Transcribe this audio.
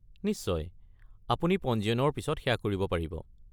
নিশ্চয়, আপুনি পঞ্জীয়নৰ পিছত সেয়া কৰিব পাৰিব।